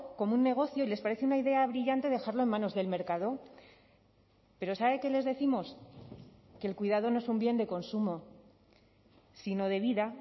como un negocio y les parece una idea brillante dejarlo en manos del mercado pero sabe qué les décimos que el cuidado no es un bien de consumo sino de vida